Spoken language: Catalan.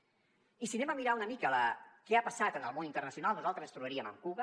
i si anem a mirar una mica què ha passat en el món internacional nosaltres ens trobaríem amb cuba